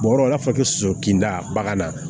Bɔrɔ b'a fɔ ko soso kinda bagan na